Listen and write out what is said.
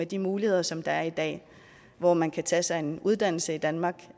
de muligheder som der er i dag hvor man kan tage sig en uddannelse i danmark